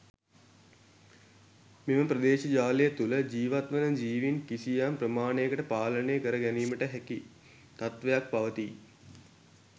මෙම ප්‍රදේශ ජාලය තුළ ජීවත් වන ජිවීන් කිසියම් ප්‍රමාණයකට පාලනය කර ගැනීමට හැකි තත්ත්වයක් පවතී.